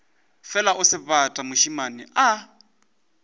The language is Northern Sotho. fela o sebata mošemane a